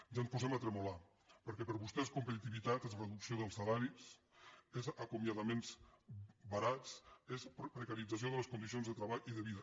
ja ens posem a tremolar perquè per vostès competitivitat és reducció dels salaris és acomiadaments barats és precarit zació de les condicions de treball i de vida